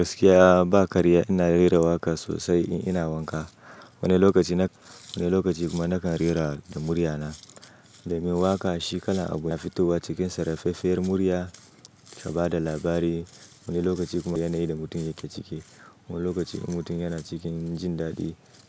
Gaskiya ba karya, ina rera waƙa sosai in ina wanka. Wani lokaci na-- wani lokaci kuma nakan rera da murya na. Domin waƙa shi kalan abu na fitowa cikin saraffefer murya ka ba da labari. Wani lokaci kuma yana yi da mutum yake ciki. Wani lokaci kuma mutum yana cikin jin daɗi.